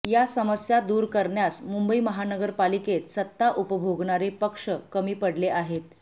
या समस्या दूर करण्यास मुंबई महानगरपालिकेत सत्ता उपभोगणारे पक्ष कमी पडले आहेत